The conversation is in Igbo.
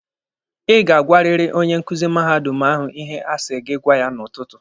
Ị ga-agwariri onye nkuzi mahadum ahụ ihe asi gị gwa ya n'ụtụtụ